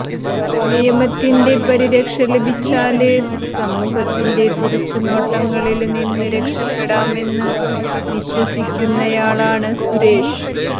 നിയമത്തിന്റെ പരിരക്ഷ ലഭിച്ചാല് സമൂഹത്തിന്റെ തുറിച്ച് നോട്ടങ്ങളില് നിന്ന് രക്ഷപ്പെടാമെന്ന് വിശ്വസിക്കുന്നയാളാണ് സുരേഷ്